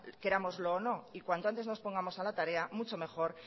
querámoslo o no y cuanto antes nos pongamos a la tarea mucho mejor